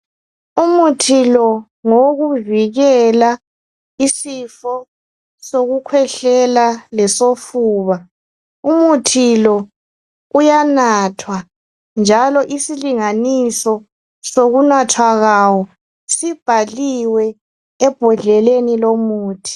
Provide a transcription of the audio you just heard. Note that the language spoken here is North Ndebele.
Umuthi lo ngowokuvikela isifo sokukhwehlela lesofuba umuthi lo uyanathwa njalo isilinganiso sokunathwa kwawo sibhaliwe ebhodleleni lomuthi.